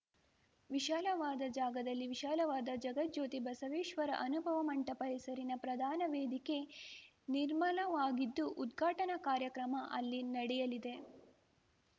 ವಿಶಾಲವಾದ ಜಾಗದಲ್ಲಿ ವಿಶಾಲವಾದ ಜಗಜ್ಯೋತಿ ಬಸವೇಶ್ವರ ಅನುಭವ ಮಂಟಪ ಹೆಸರಿನ ಪ್ರಧಾನ ವೇದಿಕೆ ನಿರ್ಮಿಲಾಗಿದ್ದು ಉದ್ಘಾಟನಾ ಕಾರ್ಯಕ್ರಮ ಅಲ್ಲಿ ನಡೆಯಲಿದೆ